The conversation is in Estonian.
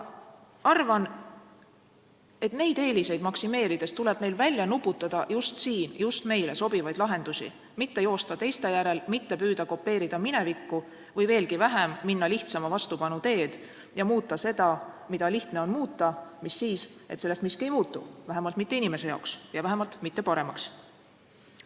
Arvan, et neid eeliseid maksimeerides tuleb meil välja nuputada just siin just meile sobivaid lahendusi, mitte joosta teiste järel, mitte püüda kopeerida minevikku, või veelgi halvem, minna lihtsama vastupanu teed ja muuta seda, mida lihtne on muuta, mis siis, et sellest miski ei muutu, vähemalt mitte inimese jaoks ja vähemalt mitte paremaks.